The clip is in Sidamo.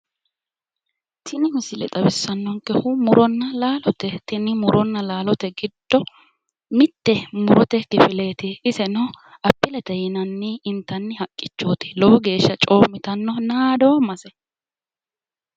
Tini misile xawissannonkehu muronna laalote tini muronna laalote giddo mitte murote kifileti iseno appilete yinanni inattnni haqqichooti lowo geeshsha coommitanno naadoommase.